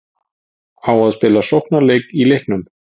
Á að spila sóknarleik í leiknum?